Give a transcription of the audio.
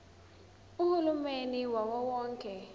uhulumeni wawo wonke